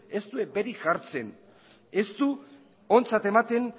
ez du eperik jartzen ez du ontzat ematen